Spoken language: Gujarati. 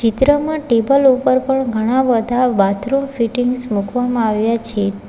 ચિત્રમાં ટેબલ ઉપર પણ ઘણા બધા બાથરૂમ ફિટિંગ્સ મૂકવામાં આવ્યા છે.